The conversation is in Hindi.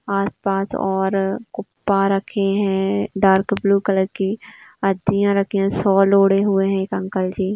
आस पास और कुप्पा रखे है। डार्क ब्लू कलर की रखी है। सोल ओड़े हुए है एक अंकल जी।